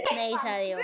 Nei sagði Jón.